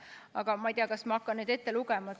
Aga ma ei tea, kas ma hakkan neid ette lugema.